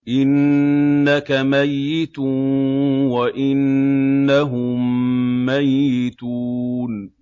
إِنَّكَ مَيِّتٌ وَإِنَّهُم مَّيِّتُونَ